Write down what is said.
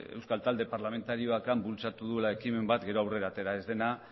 euskal talde parlamentarioak han bultzatu duela ekimen bat gero aurrera atera ez dena